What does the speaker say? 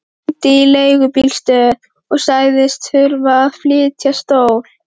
Ég hringdi í leigubílastöð og sagðist þurfa að flytja stól.